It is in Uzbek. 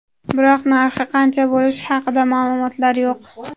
Biroq narxi qancha bo‘lishi haqida ma’lumotlar yo‘q.